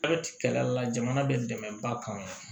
Hali kɛlɛla jamana bɛ dɛmɛba kama